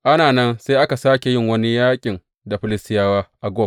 Ana nan, sai aka sāke yin wani yaƙin da Filistiyawa, a Gob.